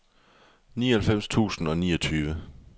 nioghalvfems tusind og niogtyve